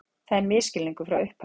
Það er misskilningur frá upphafi